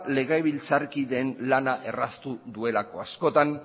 legebiltzarkideen lana erraztu duelako askotan